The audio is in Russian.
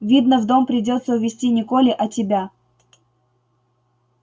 видно в дом придётся увести не колли а тебя